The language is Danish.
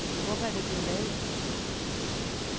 Hvorfor er det blevet lavet?